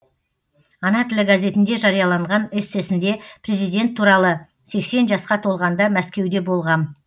ана тілі газетінде жарияланған эссесінде президент туралы сексен жасқа толғанда мәскеуде болғам